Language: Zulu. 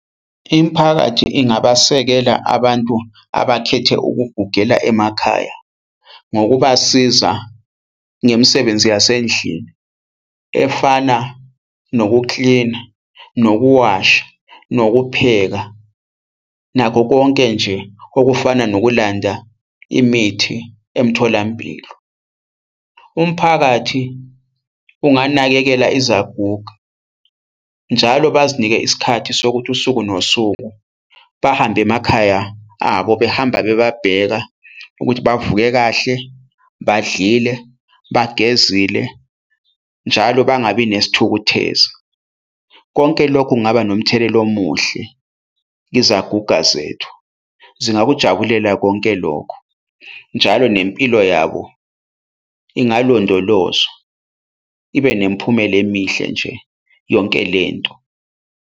Imiphakathi ingabasekela abantu abakhethe ukugugela emakhaya ngokubasiza ngemisebenzi yasendlini efana nokuklina, nokuwasha, nokupheka, nakho konke nje okufana nokulanda imithi emtholampilo. Umphakathi unganakekela izaguga njalo bazinike isikhathi sokuthi usuku nosuku bahambe emakhaya abo behamba bebabheka ukuthi bavuke kahle, badlile, bagezile njalo bangabi nesithukuthezi. Konke lokhu kungaba nomthelela omuhle kwizaguga zethu. Zingakujabulela konke lokhu, njalo nempilo yabo ingalondolozwa ibe nemiphumela emihle nje yonke lento.